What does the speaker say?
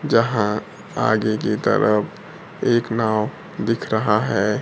यहां आगे की तरफ एक नाव दिख रहा है।